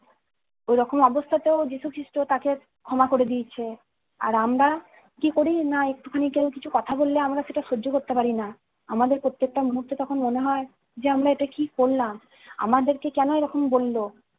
এরকম অবস্থাতেও যীশু খ্রীষ্ট তাদের ক্ষমা করে দিয়েছে। আর আমরা কি করি? না একটুখানি কেউ কিছু কথা বললে আমরা সেটা সহ্য করতে পারি না, আমাদের প্রত্যেকটা মুহূর্ত তখন মনে হয় যে আমরা এটা কি করলাম! আমাদেরকে কেন এরকম বলল।